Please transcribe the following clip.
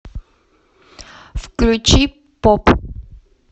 включи поп